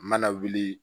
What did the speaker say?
Mana wuli